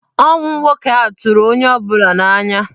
Ọnwụ nwoke ahụ tụrụ onye ọ bụla n'anya.